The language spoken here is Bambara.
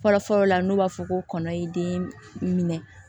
Fɔlɔfɔlɔ la n'o b'a fɔ ko kɔnɔ ye den minɛ